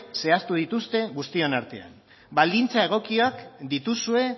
zehaztu dituzte guztien artean baldintza egokiak dituzue